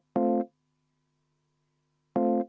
Aitäh!